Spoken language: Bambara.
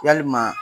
Yalima